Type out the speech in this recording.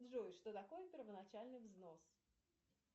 джой что такое первоначальный взнос